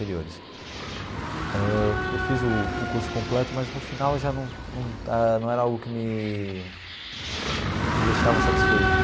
ãh eu fiz o o curso completo, mas no final já num num era algo que me me deixava satisfeito.